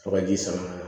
Fo ka ji sama